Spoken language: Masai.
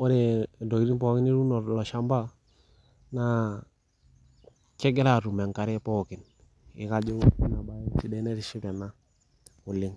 kore ntokitin pookin nituuno tilo shamba naa kegira aaatum enkare neituship ena oleng.